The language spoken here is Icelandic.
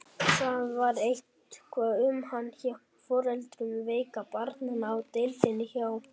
Það var eitthvað um hana hjá foreldrum veiku barnanna á deildinni hjá